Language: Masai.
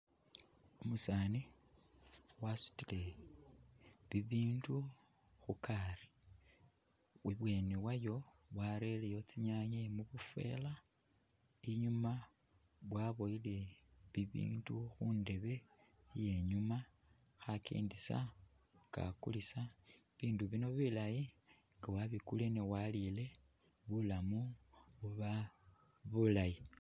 Umusani wasutile bibindu khukari, ibweni wayo warereyo tsinyaanye mubunvela inyuma waboyile bibindu khundeebe iyenyuma, khakendesa nga akulisa, bindu bino bulaayi nga wabikulile ne walile bulaamu buba bulaayi